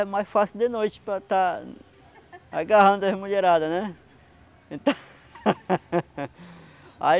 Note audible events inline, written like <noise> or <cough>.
É mais fácil de noite para estar agarrando as mulherada, né? <laughs>